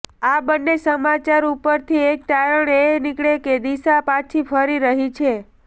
આ બંને સમાચાર ઉપરથી એક તારણ એ નીકળે કે દિશા પાછી ફરી રહી છે